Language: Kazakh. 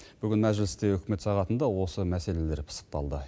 бүгін мәжілісте үкімет сағатында осы мәселелер пысықталды